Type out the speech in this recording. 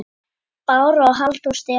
Bára og Halldór Stefán.